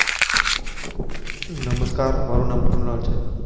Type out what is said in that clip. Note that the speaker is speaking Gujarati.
નમસ્કાર મારું નામ કૃણાલ છે.